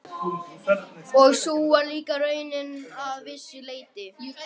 Og sú var líka raunin að vissu leyti.